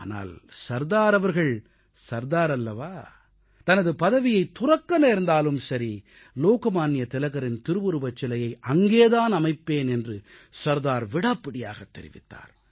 ஆனால் சர்தார் அவர்கள் சர்தார் அல்லவா தனது பதவியைத் துறக்க நேர்ந்தாலும் சரி லோக்மான்ய திலகரின் திருவுருவச் சிலையை அங்கேதான் அமைப்பேன் என்று சர்தார் விடாப்பிடியாகத் தெரிவித்தார்